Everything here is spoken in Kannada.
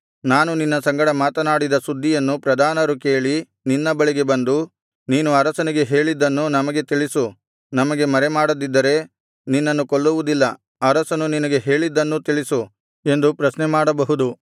ನಾನು ನಿನ್ನ ಸಂಗಡ ಮಾತನಾಡಿದ ಸುದ್ದಿಯನ್ನು ಪ್ರಧಾನರು ಕೇಳಿ ನಿನ್ನ ಬಳಿಗೆ ಬಂದು ನೀನು ಅರಸನಿಗೆ ಹೇಳಿದ್ದನ್ನು ನಮಗೆ ತಿಳಿಸು ನಮಗೆ ಮರೆಮಾಡದಿದ್ದರೆ ನಿನ್ನನ್ನು ಕೊಲ್ಲುವುದಿಲ್ಲ ಅರಸನು ನಿನಗೆ ಹೇಳಿದ್ದನ್ನೂ ತಿಳಿಸು ಎಂದು ಪ್ರಶ್ನೆಮಾಡಬಹುದು